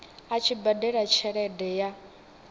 a tshi badela tshelede ya